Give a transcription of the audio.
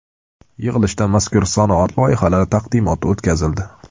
Yig‘ilishda mazkur sanoat loyihalari taqdimoti o‘tkazildi.